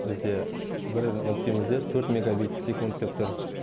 бізде бір нүктемізде төрт мегабит секунд деп тұр